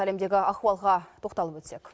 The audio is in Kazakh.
әлемдегі ахуалға тоқталып өтсек